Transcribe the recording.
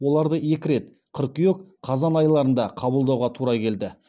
оларды екі рет қыркүйек қазан айларында қабылдауға тура келді